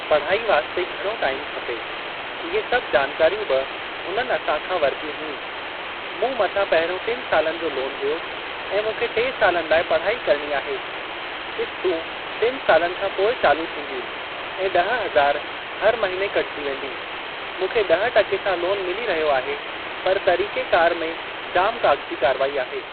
पढ़ाई वास्ते घणो टाइम खपे। इहे सभु जानकारियूं बि हुननि असां खां वरतियूं हुयूं। मूं मथां पहिरियों टिनि सालनि जो लोन हुयो ऐं मूंखे टे सालनि लाइ पढ़ाई करणी आहे। क़िस्तूं टिनि सालनि खां पोइ चालू थींदियूं ऐं ॾह हज़ार हर महीने कटिजी वेंदी। मूंखे ॾह टके सां लोन मिली रहियो आहे पर तरीक़ेकार में जाम काग़ज़ी कारवाई आहे।